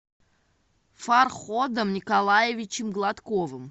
фарходом николаевичем гладковым